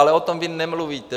Ale o tom vy nemluvíte.